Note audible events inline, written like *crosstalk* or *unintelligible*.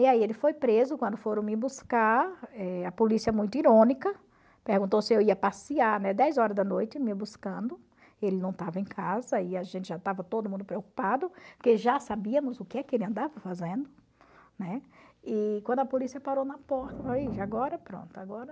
E aí ele foi preso, quando foram me buscar, eh a polícia muito irônica, perguntou se eu ia passear, né, dez horas da noite me buscando, e ele não estava em casa e a gente já estava todo mundo preocupado, porque já sabíamos o que que ele andava fazendo, né, e quando a polícia parou na porta, *unintelligible* agora pronto, agora...